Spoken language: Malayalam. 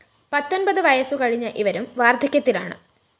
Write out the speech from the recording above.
പത്തൊന്‍പതു വയസു കഴിഞ്ഞ ഇവരും വാര്‍ധക്യത്തിലാണ്